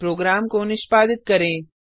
programme को निष्पादित करें